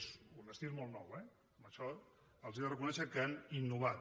és un estil molt nou eh en això els he de reconèixer que han innovat